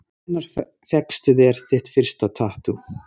Kjartan: Hvenær fékkstu þér þitt fyrsta tattú?